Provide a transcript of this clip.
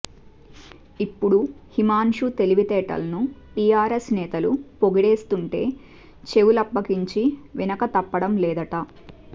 ఇప్పుడు హిమాన్షు తెలివితేటలను టిఆర్ఎస్ నేతలు పొగిడేస్తుంటే చెవులప్పగించి వినకతప్పడం లేదట